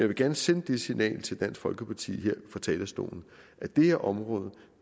vil gerne sende det signal til dansk folkeparti her fra talerstolen at det her område